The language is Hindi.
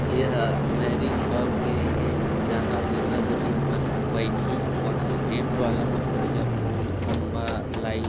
एहा मैरिज हॉल के हे जहाँ दूल्हा दुल्हिन मन बैठी वहाँ ले टेंट वाला मन बढ़िया फूल खम्बा लाइट --